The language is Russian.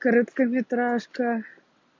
короткометражка